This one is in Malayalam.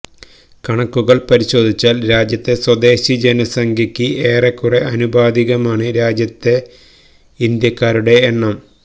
കണക്കുകൾ പരിശോധിച്ചാൽ രാജ്യത്തെ സ്വദേശി ജനസംഖ്യക്ക് ഏറെക്കുറെ അനുപാതികമാണ് രാജ്യത്തെ ഇന്ത്യക്കാരുടെ എണ്ണം